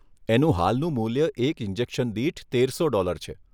એનું હાલનું મૂલ્ય એક ઇન્જેક્શન દીઠ તેરસો ડોલર છે.